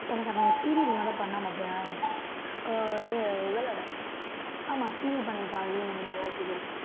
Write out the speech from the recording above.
எனக்கு அவன் serial முதல் பண்ணான் பார்த்தியா ஓ இது இவளோட ஆமா serial பண்ணியிருக்கான் நிறைய serial